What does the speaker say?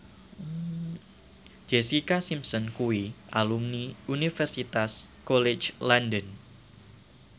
Jessica Simpson kuwi alumni Universitas College London